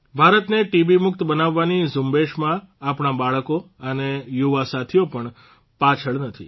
ભારતને ટીબી મુક્ત બનાવવાની ઝુંબેશમાં આપણા બાળકો અને યુવાસાથીઓ પણ પાછળ નથી